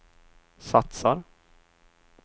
satsar